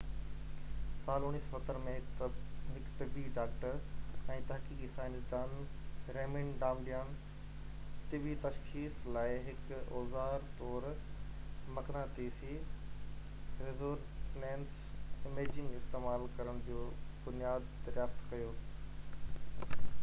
سال 1970 ۾ هڪ طبي ڊاڪٽر ۽ تحقيقي سائنسدان ريمنڊ ڊاماڊيان طبي تشخيص لاءِ هڪ اوزار طور مقناطيسي ريسونينس اميجنگ استعمال ڪرڻ جو بنياد دريافت ڪيو